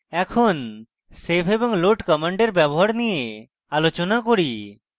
এখন save এবং load commands ব্যবহার নিয়ে আলোচনা করি